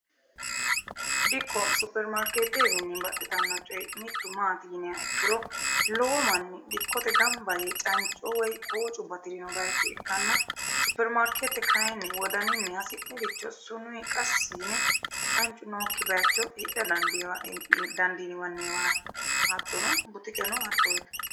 dikko supermaarkeeteewiinni baxxitanno coye mittu maati yiniha ikkiro lowo manni dikkote gamba yee canco woy koocu batirino bayicho ikkanna supermarkeete kayinni wodaninni hasi'niricho sunuyi qassi yine cancu nookki bayicho hidha dandiiniwanniwaati hattono butikeno hattooto.